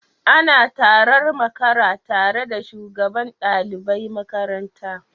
Ana tarar makara tare da shugaban dalibai makaranta